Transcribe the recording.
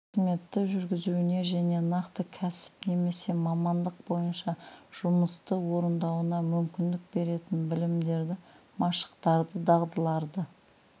қызметті жүргізуіне және нақты кәсіп немесе мамандық бойынша жұмысты орындауына мүмкіндік беретін білімдерді машықтарды дағдыларды